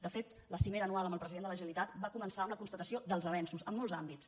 de fet la cimera anual amb el president de la generalitat va començar amb la constatació dels avenços en molts àmbits